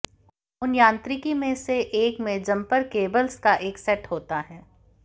उन यांत्रिकी में से एक में जम्पर केबल्स का एक सेट होता है